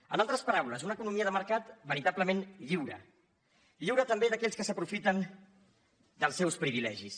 en altres paraules una economia de mercat veritablement lliure lliure també d’aquells que s’aprofiten dels seus privilegis